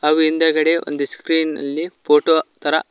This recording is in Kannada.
ಹಾಗು ಹಿಂದಗಡೆ ಒಂದು ಸ್ಕ್ರೀನ್ ಅಲ್ಲಿ ಫೋಟೋ ತರ--